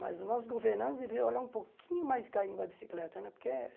Mas os nossos governantes deveriam olhar um pouquinho mais carinho para a bicicleta né, porque...